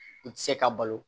I tɛ se ka balo